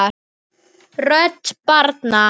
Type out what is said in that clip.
Rödd barna